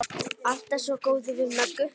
Alltaf svo góður við Möggu.